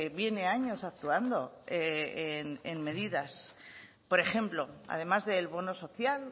viene años actuando en medidas por ejemplo además del bono social